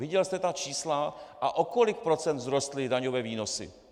Viděl jste ta čísla a o kolik procent vzrostly daňové výnosy?